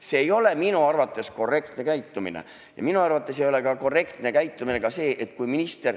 See ei ole minu arvates korrektne käitumine ja minu arvates ei ole ka korrektne käitumine see, kui minister ...